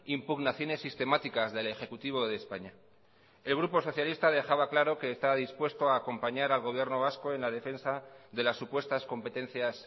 impugnaciones sistemáticas del ejecutivo de españa el grupo socialista dejaba claro que está dispuesto a acompañar al gobierno vasco en la defensa de las supuestas competencias